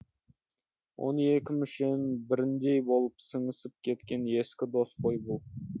он екі мүшенің біріндей болып сіңісіп кеткен ескі дос қой бұл